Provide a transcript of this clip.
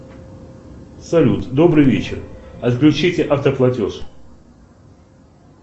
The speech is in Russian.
салют добрый вечер отключите автоплатеж